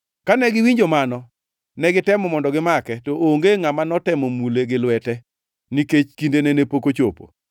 Kane giwinjo mano, ne gitemo mondo gimake, to onge ngʼama notemo mule gi lwete, nikech kindene ne pok ochopo.